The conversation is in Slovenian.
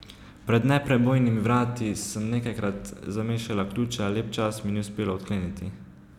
Pred neprebojnimi vrati sem nekajkrat zamešala ključa, lep čas mi ni uspelo odkleniti.